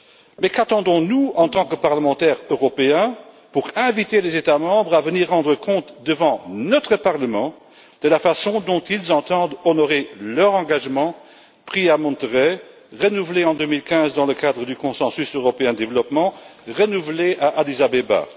Mais qu'attendons nous en tant que parlementaires européens pour inviter les États membres à venir rendre des comptes devant notre Parlement de la façon dont ils entendent honorer leur engagement pris à Monterey et renouvelé en 2015 dans le cadre du consensus européen pour le développement à Addis Abeba.